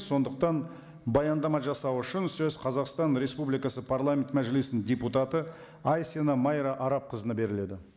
сондықтан баяндама жасау үшін сөз қазақстан республикасы парламент мәжілісінің депутаты айсина майра арапқызына беріледі